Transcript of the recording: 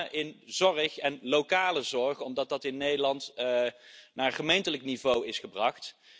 Met name in zorg en lokale zorg, omdat dat in Nederland naar gemeentelijk niveau is gebracht.